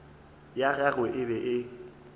ya gagwe e be e